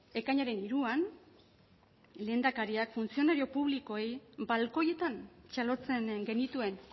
ekainaren hiruan lehendakariak funtzionario publikoei balkoietan txalotzen genituen